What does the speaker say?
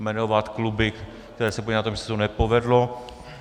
Jmenovat kluby, které se podílely na tom, že se to nepovedlo.